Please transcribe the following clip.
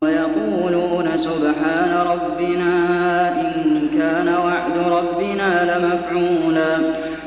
وَيَقُولُونَ سُبْحَانَ رَبِّنَا إِن كَانَ وَعْدُ رَبِّنَا لَمَفْعُولًا